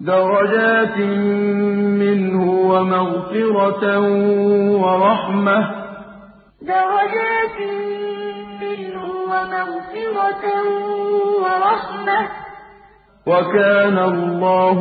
دَرَجَاتٍ مِّنْهُ وَمَغْفِرَةً وَرَحْمَةً ۚ وَكَانَ اللَّهُ غَفُورًا رَّحِيمًا دَرَجَاتٍ مِّنْهُ وَمَغْفِرَةً وَرَحْمَةً ۚ وَكَانَ اللَّهُ